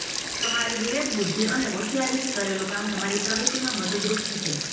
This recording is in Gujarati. તમારી વિવેકબુદ્ધિ અને હોંશિયારીથી કરેલું કામ તમારી પ્રગતિમાં મદદરૂપ થશે